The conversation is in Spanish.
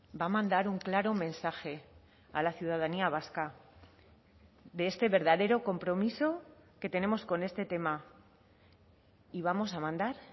va a mandar un claro mensaje a la ciudadanía vasca de este verdadero compromiso que tenemos con este tema y vamos a mandar